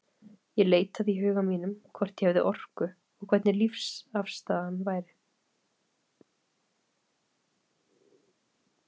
Ég leitaði í huga mínum, hvort ég hefði orku, og hvernig lífsafstaðan væri.